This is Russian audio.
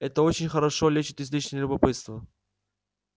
это очень хорошо лечит излишнее любопытство